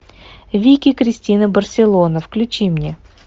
вики кристина барселона включи мне